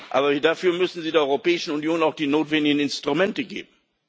Aber dafür müssen Sie der Europäischen Union auch die notwendigen Instrumente geben.